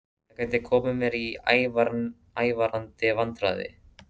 Það gæti komið mér í ævarandi vandræði.